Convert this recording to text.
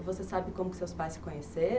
E você sabe como seus pais se conheceram?